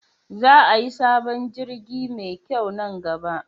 Za ayi sabon jirgi me kyau nan gaba